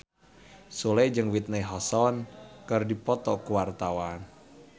Sule jeung Whitney Houston keur dipoto ku wartawan